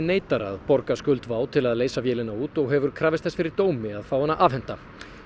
neitar að borga skuld WOW til að leysa vélina út og hefur krafist þess fyrir dómi að fá hana afhenta